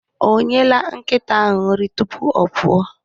Ọ nyela nkịta ahụ nri tupu ọ pụọ?